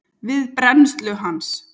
við brennslu hans.